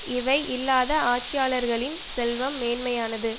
இவை இல்லாத ஆட்சியாளர்களின் செல்வம் மேன்மையானது